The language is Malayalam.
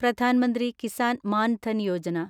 പ്രധാൻ മന്ത്രി കിസാൻ മാൻ ധൻ യോജന